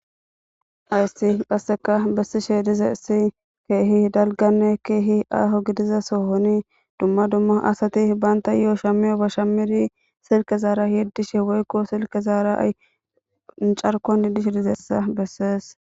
Hayssi qasseka bessishe dizayssi keehi dalganne keehi aaho gidiza sohoni dumma dumma asati bantayoo shamiyobba shamiri silke zaara yetiishe woykko silkezaara carkuwan diishshe dizayssa bessees